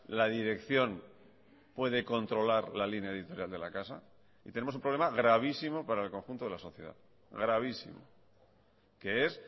la dirección puede controlar la línea editorial de la casa y tenemos un problema gravísimo para el conjunto de la sociedad gravísimo que es